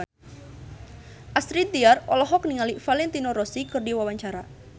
Astrid Tiar olohok ningali Valentino Rossi keur diwawancara